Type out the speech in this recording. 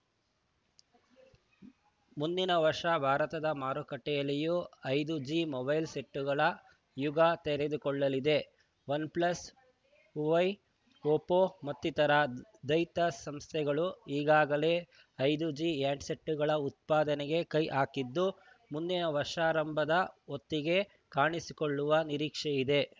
ಮುಂದಿನ ವರ್ಷ ಭಾರತದ ಮಾರುಕಟ್ಟೆಯಲ್ಲೂ ಐದು ಜಿ ಮೊಬೈಲ್‌ ಸೆಟ್‌ಗಳ ಯುಗ ತೆರೆದುಕೊಳ್ಳಲಿದೆ ವನ್‌ ಪ್ಲಸ್‌ ಹುವೈ ಒಪ್ಪೋ ಮತ್ತಿತರ ದೈತ್ಯ ಸಂಸ್ಥೆಗಳು ಈಗಾಗಲೇ ಐದು ಜಿ ಹ್ಯಾಂಡ್‌ಸೆಟ್‌ಗಳ ಉತ್ಪಾದನೆಗೆ ಕೈ ಹಾಕಿದ್ದು ಮುಂದಿನ ವರ್ಷಾರಂಭದ ಹೊತ್ತಿಗೆ ಕಾಣಿಸಿಕೊಳ್ಳುವ ನಿರೀಕ್ಷೆಯಿದೆ